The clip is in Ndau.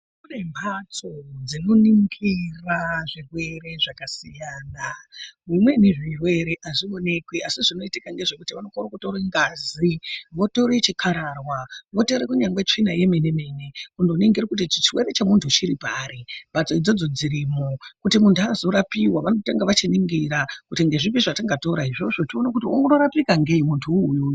Kune mhatso dzinoningira zvirwere zvakasiyana zvimweni zvirwere hazvionekwi asi zvinoitika ngezvekuti vanokone kutore ngazi, votore chikararwa, votore kunyari tsvina yemene -mene vononingire kuti chirwere chemuntu uyu chiri pari mhatso idzodzo dzirimwo. Kuti muntu azorapiwa vanotanga vachiningira kuti ndezvipi zvatingatora izvo tione kuti ungarapika ngei muntu uyuyu.